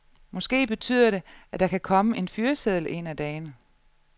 Måske betyder det, at der kan komme en fyreseddel én af dagene.